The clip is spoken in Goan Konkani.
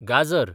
गाजर